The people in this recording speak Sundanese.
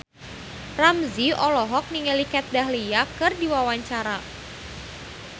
Ramzy olohok ningali Kat Dahlia keur diwawancara